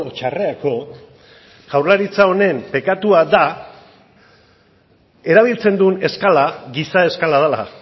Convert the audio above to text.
txarrerako jaurlaritza honen bekatua da erabiltzen duen eskala giza eskala dela